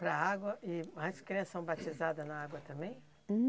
Para a água, e as criança são batizada na água também?